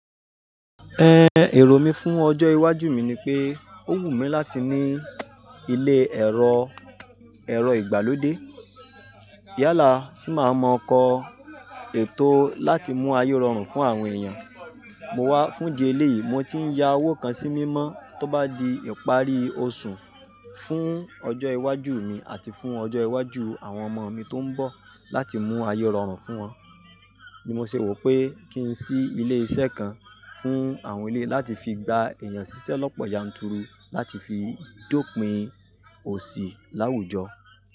Èrò mi fún ọjọ́ iwájú mi ni pé, ó wù mí láti ní ilé ẹ̀rọ, ẹ̀rọ ìgbàlódé. Yálà tí màá mọ kọ̀ ètò láti mú ayé rọrùn fún àwọn èèyàn. Mo wá fún di eléyìí, mo ti ń ya owó kan sí mímọ́ tó bá di ìparí oṣù fún ọjọ́ iwájú mi àti fún ọjọ́ iwájú àwọn ọmọ mi tó ń bọ̀ láti mú ayé rọrùn fún wọn. Ni mo ṣe wò pé kí n sí ilé iṣẹ́ kan fún àwọn eléyi láti fi gba èèyàn ṣíṣẹ́ lọ́pọ̀ yanturu láti fi dópin òṣì láwùjọ.